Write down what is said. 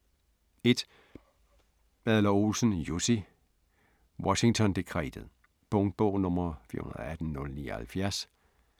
1. Adler-Olsen, Jussi: Washington dekretet Punktbog 418079